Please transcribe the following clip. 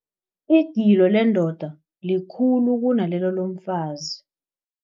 Igilo lendoda likhulu kunalelo lomfazi.